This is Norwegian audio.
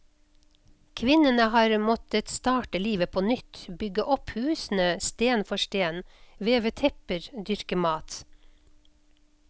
Kvinnene har måttet starte livet på nytt, bygge opp husene sten for sten, veve tepper, dyrke mat.